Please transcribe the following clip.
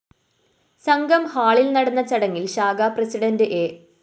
സംഘം ഹാളില്‍ നടന്ന ചടങ്ങില്‍ ശാഖാ പ്രസിഡണ്ട് എ